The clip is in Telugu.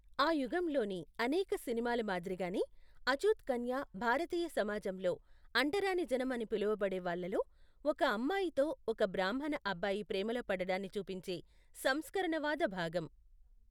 ఆ యుగంలోని అనేక సినిమాల మాదిరిగానే, అచ్చూత్ కన్య భారతీయ సమాజంలో అంటరానిజనం అని పిలువబడే వాళ్లలో, ఒక అమ్మాయితో ఒక బ్రాహ్మణ అబ్బాయి ప్రేమలో పడడాన్ని చూపించే సంస్కరణవాద భాగం.